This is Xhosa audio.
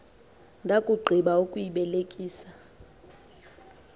ndakugqi ba ukuyibelekisa